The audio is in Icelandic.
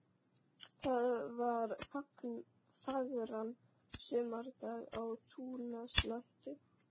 Það var fagran sumardag á túnaslætti.